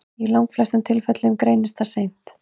Í langflestum tilfellum greinist það því seint.